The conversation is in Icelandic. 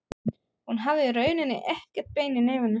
Hún hafði í rauninni ekkert bein í nefinu.